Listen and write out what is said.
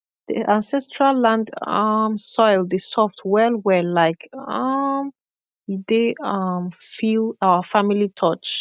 the ancestral land um soil dey soft well well like um e dey um feel our family touch